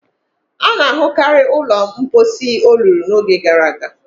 A na-ahụkarị ụlọ mposi olulu n'oge gara aga